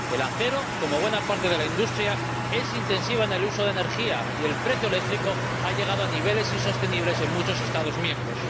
El acero, como buena parte de la industria, es intensivo en el uso de energía, y el precio eléctrico ha llegado a niveles insostenibles en muchos Estados miembros.